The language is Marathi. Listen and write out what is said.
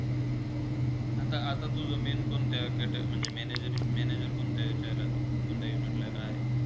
आता -आता तुझा main कोणत्या केटा म्हणजे manager manager कोण्ता याचला कोण्ता - कोणत्या unit ला काय.